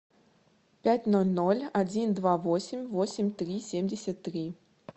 пять ноль ноль один два восемь восемь три семьдесят три